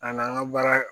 A n'an ka baara